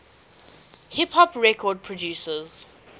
hip hop record producers